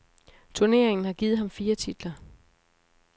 Turneringen har givet ham fire titler.